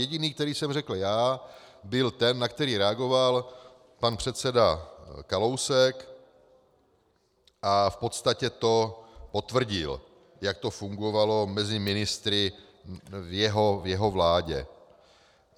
Jediný, který jsem řekl já, byl ten, na který reagoval pan předseda Kalousek, a v podstatě to potvrdil, jak to fungovalo mezi ministry v jeho vládě.